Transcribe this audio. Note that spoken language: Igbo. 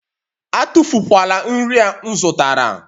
Atụfu kwala nri a m zụtara!